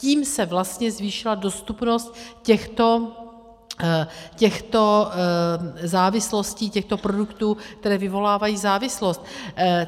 Tím se vlastně zvýšila dostupnost těchto závislostí, těchto produktů, které vyvolávají závislost.